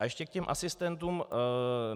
A ještě k těm asistentům.